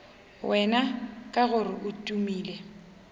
wena ka gore o tumile